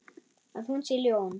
Að hún sé ljón.